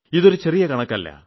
ഇതൊരു ചെറിയ കണക്കല്ല